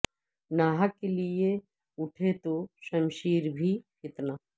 نا حق کے لیے اٹھے تو شمشیر بھی فتنہ